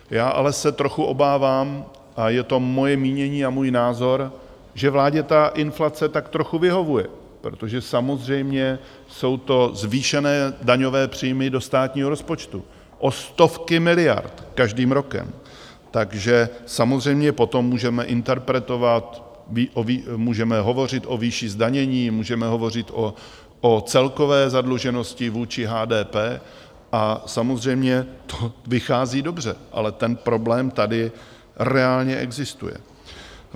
Já ale se trochu obávám, a je to moje mínění a můj názor, že vládě ta inflace tak trochu vyhovuje, protože samozřejmě jsou to zvýšené daňové příjmy do státního rozpočtu o stovky miliard každým rokem, takže samozřejmě potom můžeme interpretovat, můžeme hovořit o výši zdanění, můžeme hovořit o celkové zadluženosti vůči HDP, a samozřejmě to vychází dobře, ale ten problém tady reálně existuje.